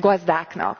gazdáknak.